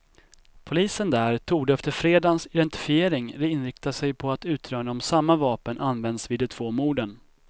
Polisen där torde efter fredagens identifiering inrikta sig på att utröna om samma vapen använts vid de två morden.